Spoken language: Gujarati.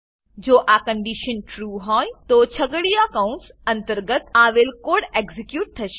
જો આ કન્ડીશન ટ્રૂ ટ્રુ હોય તો છગડીયા કૌંસ અંતર્ગત આવેલ કોડ એક્ઝીક્યુટ થશે